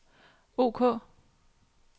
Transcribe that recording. ok